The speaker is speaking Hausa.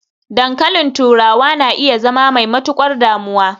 dankalin turawa na iya zama mai matukar damuwa